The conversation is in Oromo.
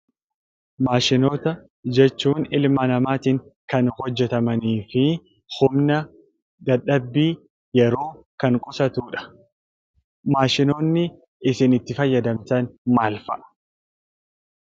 Maashinoota jechuun; ilmaa namattin Kan hojeetamanifi humna, dadhaabii, yeroo Kan qusatuudha. Maashinoonni isiin itti faayyadamtaan maal fa'a?